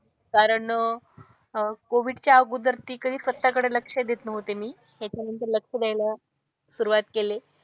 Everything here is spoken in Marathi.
कारण कोविडच्या अगोदर स्वतःकडे लक्ष देत नव्हते मी. ह्याच्यानंतर लक्ष द्यायला सुरुवात केली.